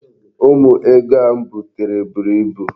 Ụmụ ego a m butere mụrụ buru ibu.